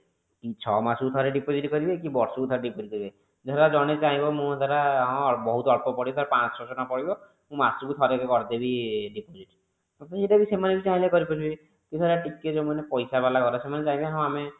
ଛଅ ମାସକୁ ଥରେ deposit କରିବେ କି ବର୍ଷ କୁ ଥରେ deposit କରିବେ ଧର ଜଣେ ଚାହିଁବ ମୁଁ ଧର ବହୁତ ଅଳ୍ପ ପଡିବ ଧର ପାଞ୍ଚସହ ଛଅସହ ଟଙ୍କା ପଡିବ ମୁଁ ମାସକୁ ଥରେ ଲେଖା କରିଦେବି deposit ସେଟା ସେମାନେ ଯଦି ଚାହିଁବେ କରିପାରିବେ କି ଟିକେ ଯଉମାନେ ପଇସା ବାଲା ଘର ସେମାନେ ଚାହିଁବେ ହଁ ଆମେ